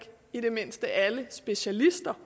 i det mindste ikke alle specialister